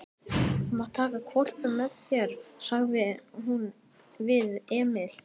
Þú mátt taka hvolpinn með þér, sagði hún við Emil.